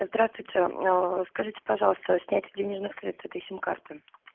здравствуйте скажите пожалуйста снятие денежных средств с этой сим карты